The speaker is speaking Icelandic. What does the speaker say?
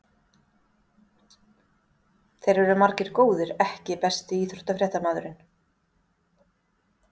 Þeir eru margir góðir EKKI besti íþróttafréttamaðurinn?